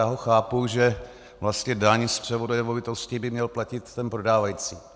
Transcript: Já ho chápu, že vlastně daň z převodu nemovitosti by měl platit ten prodávající.